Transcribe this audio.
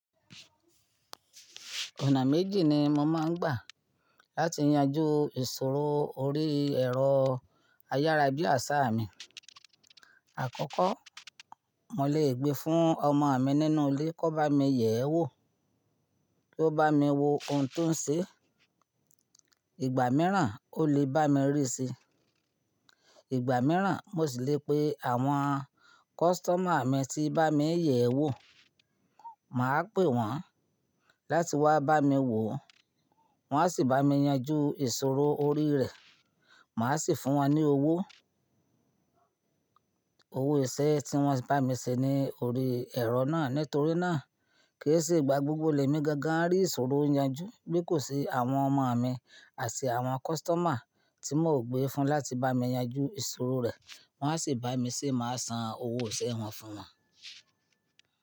Ọ̀nà méjì ni mo máa ń gbà láti yanjú ìṣòro orí ẹ̀rọ ayára bi asa mi. Àkọ́kọ́, mo lè gbé fún ọmọ mi nínú ilé kó bá mi yẹ̀ ẹ́ wò, kó bá mi wo ohun tó ń ṣe. Ìgbà mìíràn, ó lè bá mi rí se. Ìgbà mìíràn, mo sì lè pe àwọn customer mi tí bá mi yẹ̀ ẹ́ wò, mà á pè wọ́n láti wá bá mi wò, wọ́n á sì bá mi yanjú ìṣòro orí rẹ̀, mà á sì fún wọn ní owó, owó iṣẹ́ tí wọ́n bá mi ṣe ní orí ẹ̀rọ náà. Nítorí náà ke se igba gbogbo lẹ̀ mi gangan rí ìṣòro yanjú bí kò se àwọn ọmọ mi àti àwọn customer tí mò gbé fún láti bá mi yanjú ìṣòro rẹ̀, wọ́n á sì bá mi ṣé mà á san owó iṣẹ́ wọn fún wọn.